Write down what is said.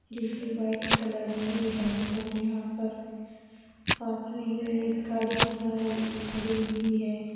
जो कि white colour की है और यहां पर पास में ही एक गाड़ी जा रही खड़ी हुई है।